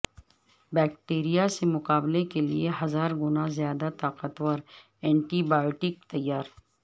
bacteria سے مقابلے کے لیے ہزار گنا زیادہ طاقتور اینٹی بائیوٹک تیار